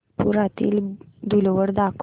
नागपुरातील धूलवड दाखव